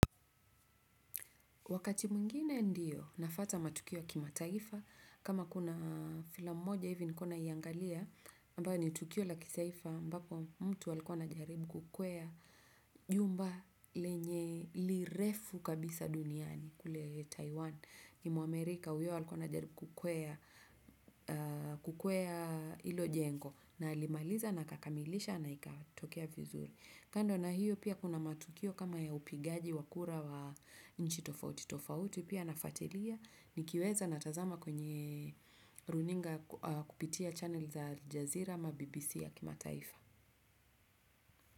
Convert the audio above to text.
Wakati mwingine ndiyo nafuata matukio ya kimataifa kama kuna filamu moja hivi nilikua naingalia ambao ni tukio la kitaifa ambapo mtu alikua anajaribu kukwea jumba lenye lirefu kabisa duniani kule Taiwan. Ni mwamerika huyo alikuwa anajaribu kukwea hilo jengo na alimaliza na akakamilisha na ikatokea vizuri, kando na hiyo pia kuna matukio kama ya upigaji wa kura wa nchi tofauti tofauti pia nafuatilia nikiweza natazama kwenye runinga kupitia channel za aljezira ama BBC ya kimataifa.